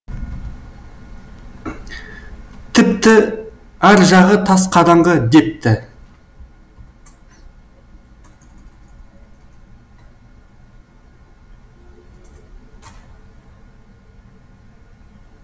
тіпті ар жағы тас қараңғы депті